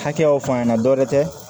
Hakɛyaw fɔ an ɲɛna dɔɛrɛ tɛ